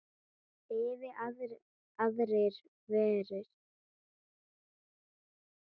Yfir aðrir vefir.